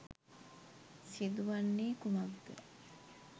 සිදුවන්නේ කුමක් ද?